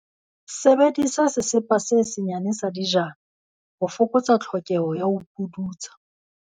Sebedisa sesepa se senyane sa dijana, ho fokotsa tlhokeho ya ho pudutsa.